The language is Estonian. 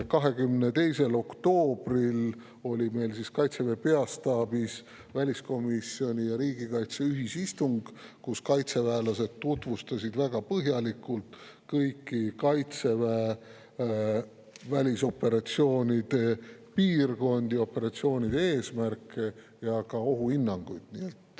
22. oktoobril oli meil Kaitseväe peastaabis väliskomisjoni ja riigikaitse ühisistung, kus kaitseväelased tutvustasid väga põhjalikult kõiki meie välisoperatsioonide piirkondi, operatsioonide eesmärke ja ka ohuhinnanguid.